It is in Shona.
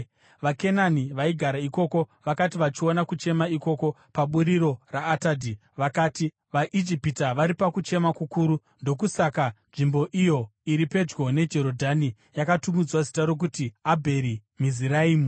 VaKenani vaigara ikoko vakati vachiona kuchema ikoko paburiro raAtadhi, vakati, “VaIjipita vari pakuchema kukuru.” Ndokusaka nzvimbo iyo iri pedyo neJorodhani yakatumidzwa zita rokuti Abheri Miziraimi.